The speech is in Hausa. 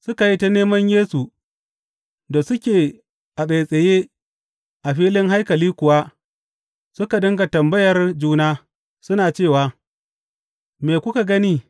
Suka yi ta neman Yesu, da suke a tsaitsaye a filin haikali kuwa suka dinga tambayar juna, suna cewa, Me kuka gani?